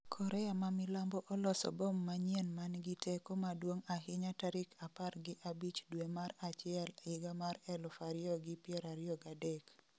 Korea ma Milambo oloso bom manyien mangi teko maduong' ahinya tarik 15 due mar achiel 2023